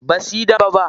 Basuyi dambe ba.